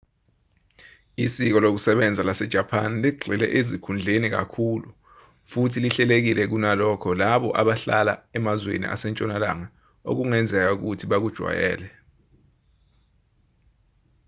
isiko lokusebenza lasejapani ligxile ezikhundleni kakhulu futhi lihlelekile kunalokho labo abahlala emazweni asentshonalanga okungenzeka ukuthi bakujwayele